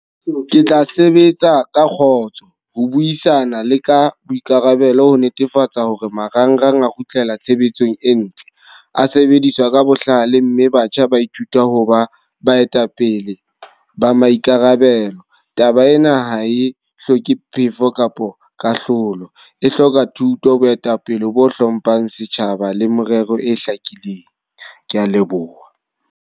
Ke tla sebetsa ka kgotso. Ho buisana le ka boikarabelo ho netefatsa hore marangrang a kgutlela tshebetsong e ntle. A sebediswa ka bohlale mme batjha ba ithuta ho ba baetapele ba maikarabelo. Taba ena ha e hloke phefo kapo kahlolo. E hloka thuto, boetapele bo hlomphang setjhaba, le morero e hlakileng. Ke a leboha.